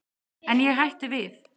En ég hætti við.